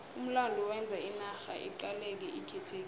umlando wenza inarha iqaleke ikhethekile